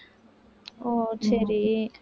ஓ சரி